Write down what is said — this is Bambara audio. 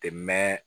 Tɛ mɛn